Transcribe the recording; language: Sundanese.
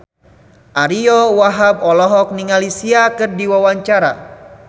Ariyo Wahab olohok ningali Sia keur diwawancara